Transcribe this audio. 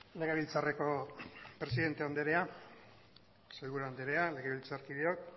legebiltzarreko presidente andrea sailburua andrea legebiltzarkideok